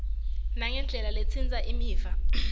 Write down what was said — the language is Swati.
nangendlela letsintsa imiva